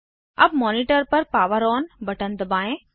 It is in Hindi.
अब मॉनिटर पर पावर ऑन बटन दबाएं